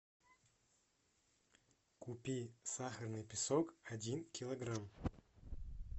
купи сахарный песок один килограмм